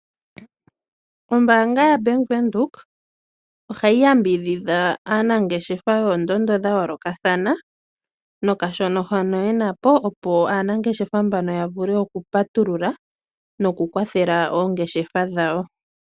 Ombanga yaVenduka ohayi yambidhidha aanangeshefa yoondondo dhayolokathana nokashona hoka yenapo opo aanangeshefa mbana yavule okupatulula nokukwathela oongeshefa dhawo.